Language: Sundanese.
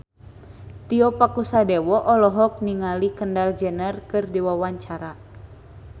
Tio Pakusadewo olohok ningali Kendall Jenner keur diwawancara